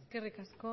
eskerrik asko